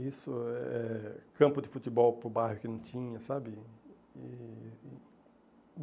Isso, eh campo de futebol para o bairro que não tinha, sabe? E